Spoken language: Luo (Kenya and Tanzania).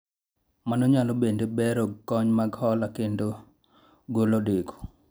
mano nyalo bende bero kony mag hola kendo golo deko